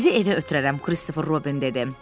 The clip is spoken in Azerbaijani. Sizi evə ötürərəm, Kristofer Robin dedi.